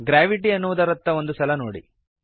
gravity ಎನ್ನುವುದರತ್ತ ಒಂದು ಸಲ ನೋಡಿರಿ